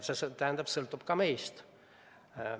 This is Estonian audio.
Seega sõltub ka meist.